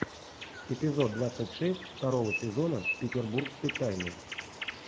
эпизод двадцать шесть второго сезона петербургской тайны